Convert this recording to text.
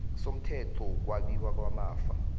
somthetho wokwabiwa kwamafa